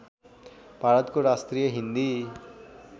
भारतको राष्ट्रिय हिन्दी